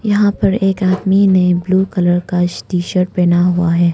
यहां पर एक आदमी ने ब्लू कलर का टी शर्ट पहना हुआ है।